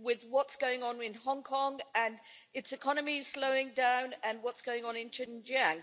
with what's going on in Hong Kong and its economy is slowing down, and what's going on in Xinjiang.